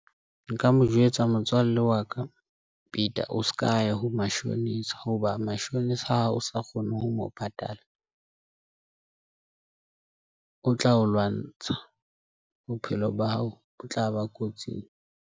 Nka mo jwetsa motswalle wa ka, Peter o s'ka ya ho mashonisa. Hoba mashonisa hao o sa kgone ho mo patala, o tla o lwantsha bophelo ba hao, o tlaba kotsing.